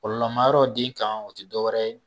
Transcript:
Kɔlɔlɔmayɔrɔ den kan o te dɔ wɛrɛ ye